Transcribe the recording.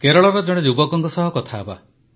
କେରଳର ଜଣେ ଯୁବକଙ୍କ ସହ କଥା ହେବା